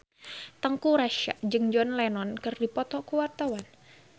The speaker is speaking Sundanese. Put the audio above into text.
Teuku Rassya jeung John Lennon keur dipoto ku wartawan